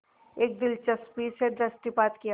इस दिलचस्पी से दृष्टिपात किया